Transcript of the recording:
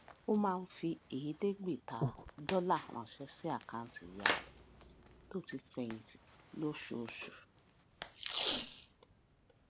ó máa ń fi èédégbèta dólà ránṣé sí àkáǹtì ìyá rè tó ti fèyìn tì lóṣooṣù